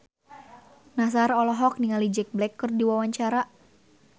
Nassar olohok ningali Jack Black keur diwawancara